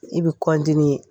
I bɛ